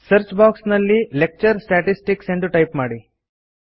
search box ನಲ್ಲಿ lecture statistics ಎಂದು type ಮಾಡಿ